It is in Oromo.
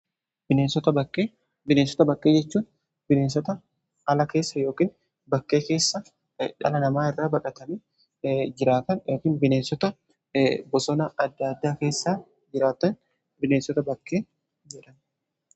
Bineensota bakkee jechuun bineensota ala keessa yookiin bakkee keessa dhala namaa irra baqatanii jiraatan bineensota bosona adda addaa keessaa jiraatan bineensota bakkee jedhama.